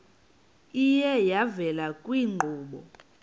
iye yavela kwiinkqubo